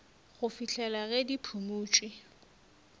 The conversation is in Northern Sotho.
go fihlela ge di phumotšwe